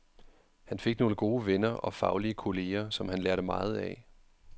Han fik nogle gode venner og faglige kolleger, som han lærte meget af.